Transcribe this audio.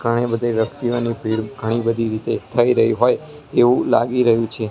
ઘણી બધી વ્યક્તિઓની ભીડ ઘણી બધી રીતે થઈ રહી હોય એવું લાગી રહ્યું છે.